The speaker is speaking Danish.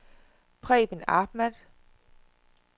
Preben Ahmad